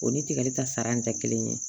O ni tigɛli ta sara in tɛ kelen ye